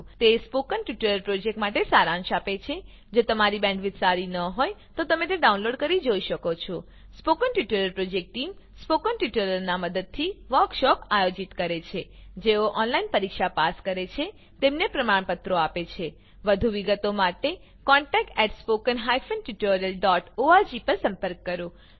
તે spoken tutorial પ્રોજેક્ટનો સારાંશ આપે છે જો તમારી બેન્ડવિડ્થ સારી ન હોય તો તમે ડાઉનલોડ કરી તે જોઈ શકો છો spoken tutorial project team spoken ટ્યુટોરીયલોનાં મદદથી વર્કશોપોનું આયોજન કરે છે જેઓ ઓનલાઈન પરીક્ષા પાસ કરે છે તેમને પ્રમાણપત્રો આપે છે વધુ વિગત માટે કૃપા કરી contactspoken tutorialorg પર સંપર્ક કરો